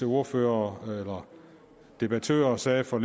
ordførere eller debattører sagde for